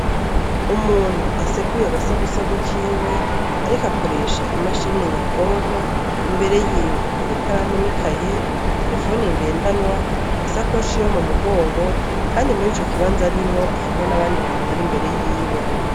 Umuntu aseguye agasagusagu kiwe, ariko akoresha imashirine nyabwonko imbere yiwe hari ikaramunikaye telefone ngendanwa isakoshiyo mu mugongo, kandi muri ico kibanza arimwo hariho n'abandi bantu bari imbere yiwe.